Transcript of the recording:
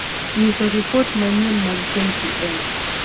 nyiso ripot ma manyien mag k. t. n.